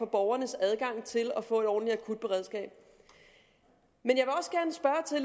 borgernes adgang til at få et ordentligt akut beredskab men